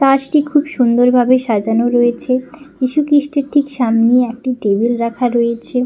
কাঁচটি খুব সুন্দর ভাবে সাজানো রয়েছে যিশুখ্রিস্টের ঠিক সামনে একটি টেবিল রাখা রয়েছে।